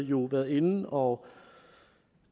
jo været inde og